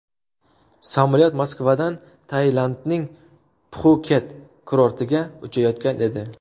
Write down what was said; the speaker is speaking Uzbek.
Samolyot Moskvadan Tailandning Pxuket kurortiga uchayotgan edi.